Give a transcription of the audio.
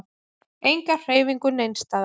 Enga hreyfingu neins staðar.